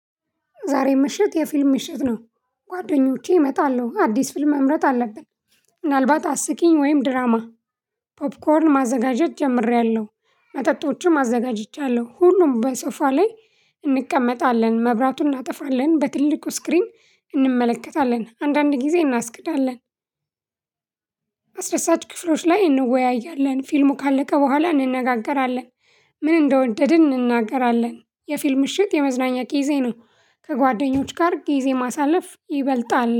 ዛሬ ምሽት የፊልም ምሽት ነው። ጓደኞቼ እመጣለሁ አዲስ ፊልም መምረጥ አለብን። ምናልባት አስቂኝ ወይም ድራማ። ፖፕኮርን ማዘጋጀት ጀምሬያለሁ መጠጦችም አዘጋጅቻለሁ። ሁሉም በሶፋ ላይ እንቀመጣለን መብራቱን እናጠፋለን በትልቁ ስክሪን እንመለከታለን። አንዳንድ ጊዜ እናስቅዳለን። አስረሳች ክፍሎች ላይ እንወያያለን ፊልሙ ካለቀ በኋላ እንነጋገራለን። ምን እንደወደድን እንነጋገራለን። የፊልም ምሽት የመዝናኛ ቂዜ ነው። ከጓደኞች ጋር ጊዜ ማሳለፍ ይበልጣል